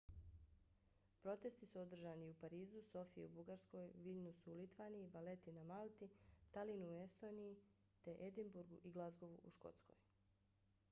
protesti su održani i u parizu sofiji u bugarskoj viljnusu u litvaniji valeti na malti talinu u estoniji te edinburgu i glazgovu u škotskoj